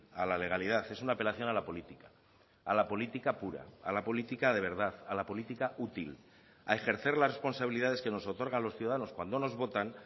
a la legalidad es una apelación a la política a la política pura a la política de verdad a la política útil a ejercer las responsabilidades que nos otorgan los ciudadanos cuando nos votan